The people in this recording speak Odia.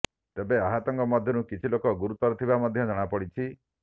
ତେବେ ଆହତଙ୍କ ମଧ୍ୟରୁ କିଛି ଲୋକ ଗୁରୁତର ଥିବା ମଧ୍ୟ ଜଣାପଡ଼ିଛି